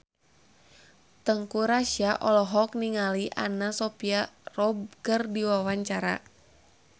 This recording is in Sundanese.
Teuku Rassya olohok ningali Anna Sophia Robb keur diwawancara